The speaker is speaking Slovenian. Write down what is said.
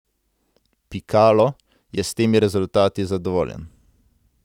Pikalo je s temi rezultati zadovoljen.